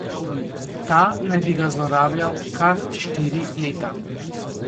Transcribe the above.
Ta naj bi ga zlorabljal kar štiri leta.